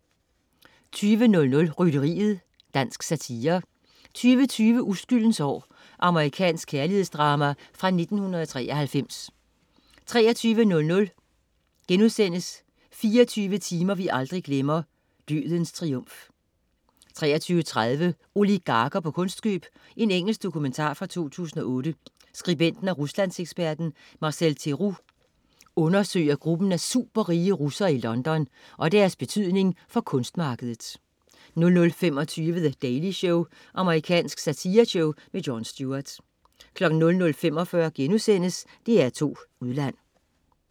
20.00 Rytteriet. Dansk satire 20.20 Uskyldens år. Amerikansk kærlighedsdrama fra 1993 23.00 24 timer vi aldrig glemmer: "Dødens Triumf"* 23.30 Oligarker på kunstkøb. Engelsk dokumentar fra 2008. Skribenten og ruslandseksperten Marcel Theroux undersøger gruppen af superrige russere i London og deres betydning for kunstmarkedet 00.25 The Daily Show. Amerikansk satireshow. Jon Stewart 00.45 DR2 Udland*